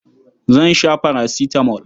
Zan sha farasitamol.